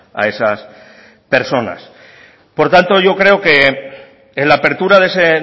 a esas personas por tanto yo creo que en la apertura de ese